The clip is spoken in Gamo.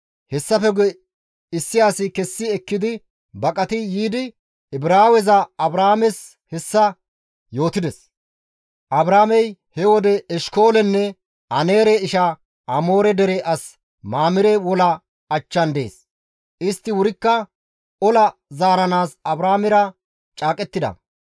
Hessafe guye issi asi kessi ekkidi baqati yiidi Ibraawe Abraames hessa yootides; Abraamey he wode Eshkoolenne Aneere isha Amoore dere as Mamire wola achchan dees; istti wurikka ola zaaranaas Abraamera caaqettida.